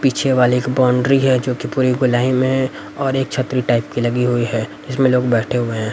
पीछे वाले एक बाउंड्री है जो की पूरी गोलाई में और एक छतरी टाइप की लगी हुई है इसमें लोग बैठे हुए हैं।